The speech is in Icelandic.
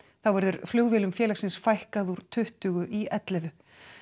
þá verður flugvélum félagsins fækkað úr tuttugu í ellefu